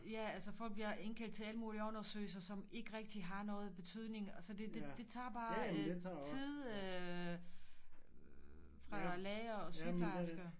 Ja altså folk bliver indkaldt til alle mulige undersøgelser som ikke rigtig har noget betydning så det det tager bare tid øh fra læger og sygeplejersker